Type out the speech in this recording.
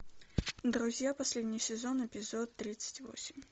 друзья последний сезон эпизод тридцать восемь